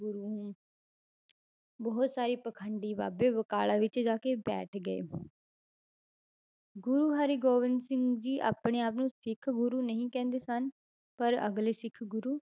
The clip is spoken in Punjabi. ਗੁਰੂ ਹੂੰ ਬਹੁਤ ਸਾਰੇ ਪਾਖੰਡੀ ਬਾਬੇ ਬਕਾਲਾ ਵਿੱਚ ਜਾ ਕੇ ਬੈਠ ਗਏ ਗੁਰੂ ਹਰਿਗੋਬਿੰਦ ਸਿੰਘ ਜੀ ਆਪਣੇ ਆਪ ਨੂੰ ਸਿੱਖ ਗੁਰੂ ਨਹੀਂ ਕਹਿੰਦੇ ਸਨ, ਪਰ ਅਗਲੇ ਸਿੱਖ ਗੁਰੂ